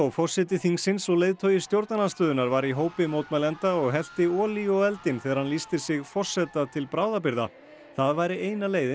forseti þingsins og leiðtogi stjórnarandstöðunnar var í hópi mótmælenda og hellti olíu á eldinn þegar hann lýsti sig forseta til bráðabirgða það væri eina leiðin